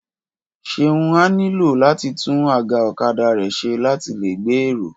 Ṣeun á nílò láti tún àga ọ̀kadà rẹ̀ ṣe láti lè gbé èrò